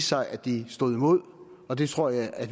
sig at de stod imod og det tror jeg at